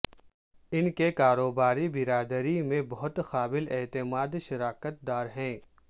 ان کے کاروباری برادری میں بہت قابل اعتماد شراکت دار ہیں